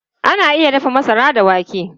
Ana iya dafa masara da wake.